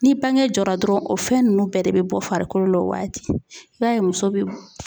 Ni bange jɔra dɔrɔn o fɛn nunnu bɛɛ de bɛ bɔ farikolo la o waati,i b'a ye muso bɛ